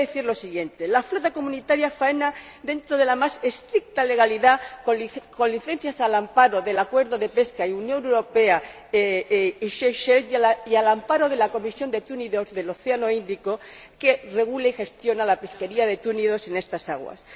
Y voy a decir los siguiente la flota comunitaria faena dentro de la más estricta legalidad, con licencias al amparo del Acuerdo de pesca Unión Europea Seychelles y al amparo de la Comisión de Túnidos del Océano Índico, que regula y gestiona la pesquería de túnidos en estas aguas.